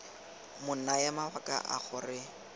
mo naya mabaka a gore